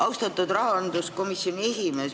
Austatud rahanduskomisjoni esimees!